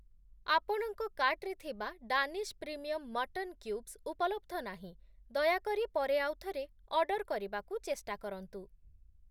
ଆପଣଙ୍କ କାର୍ଟ୍‌ରେ ଥିବା ଡାନିଶ୍ ପ୍ରିମିୟମ୍‌ ମଟନ୍‌ କ୍ୟୁବ୍‌ସ୍‌ ଉପଲବ୍ଧ ନାହିଁ, ଦୟାକରି ପରେ ଆଉଥରେ ଅର୍ଡ଼ର୍‌ କରିବାକୁ ଚେଷ୍ଟା କରନ୍ତୁ ।